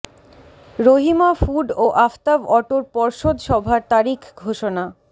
Rahima Food ও আফতাব অটোর পর্ষদ সভার তারিখ ঘোষণা